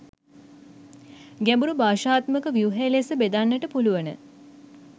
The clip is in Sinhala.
ගැඹුරු භාෂාත්මක ව්‍යුහය ලෙස බෙදන්නට පුළුවන